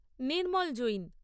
Nirmal Jain